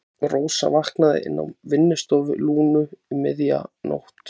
Rósa vaknaði inni á vinnustofu Lúnu um miðja nótt.